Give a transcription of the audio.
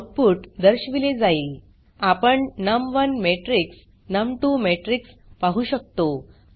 output दर्शविले जाईल आपण नम1 मॅट्रिक्स नम2 मॅट्रिक्स पाहु शकतो